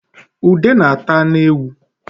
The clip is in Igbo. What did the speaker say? ude na-ata anụ ewu